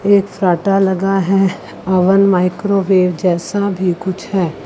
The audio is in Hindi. एक लगा है। अवन माइक्रोवेव जैसा भी कुछ है।